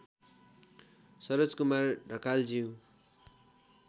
Saroj Kumar ढकालज्यू